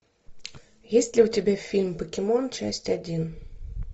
есть ли у тебя фильм покемон часть один